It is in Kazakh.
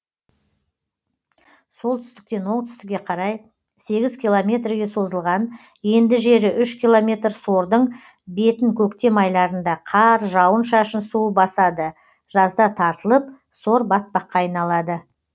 солтүстіктен оңтүстікке қарай сегіз километрге созылған енді жері үш километр сордың бетін көктем айларында қар жауын шашын суы басады жазда тартылып сор батпаққа айналады